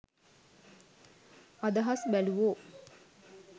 අදහස් බැලූවෝ